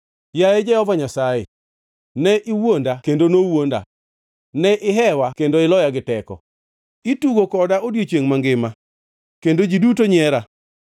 Yaye Jehova Nyasaye, ne iwuonda kendo nowuonda; ne ihewa kendo iloya giteko. Itugo koda odiechiengʼ mangima; kendo ji duto nyiera.